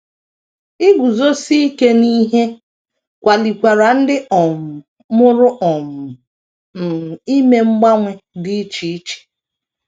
Iguzosi ike n’ihe kwalikwara ndị um mụrụ um m ime mgbanwe dị iche iche.